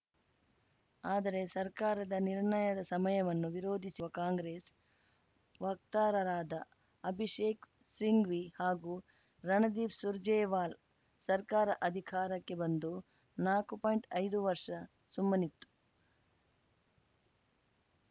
ಆದರೆ ಸರ್ಕಾರದ ನಿರ್ಣಯದ ಸಮಯವನ್ನು ವಿರೋಧಿಸಿರುವ ಕಾಂಗ್ರೆಸ್‌ ವಕ್ತಾರರಾದ ಅಭಿಷೇಕ್‌ ಸಿಂಘ್ವಿ ಹಾಗೂ ರಣದೀಪ್‌ ಸುರ್ಜೇವಾಲಾ ಸರ್ಕಾರ ಅಧಿಕಾರಕ್ಕೆ ಬಂದು ನಾಕು ಪಾಯಿಂಟ್ಐದು ವರ್ಷ ಸುಮ್ಮನಿತ್ತು